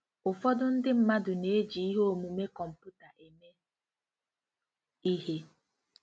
Ụfọdụ ndị mmadụ na-eji ihe omume kọmputa eme ihe.